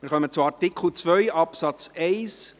Wir kommen zu Artikel 2 Absatz 1